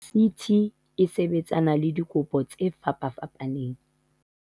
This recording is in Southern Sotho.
"CT e sebetsana le dikopo tse fapafapaneng."